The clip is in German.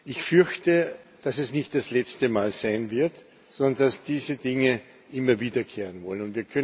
Ich fürchte, dass es nicht das letzte Mal sein wird, sondern dass diese Dinge immer wiederkehren wollen.